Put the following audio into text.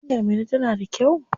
Hanyar Minna tana da kyau?